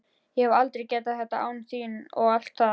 Ég hefði aldrei getað þetta án þín og allt það.